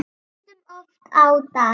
Stundum oft á dag.